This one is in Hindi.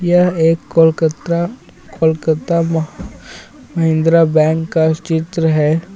यह एक कोलकतरा कोलकाता म- महिंद्रा बैंक का चित्र है.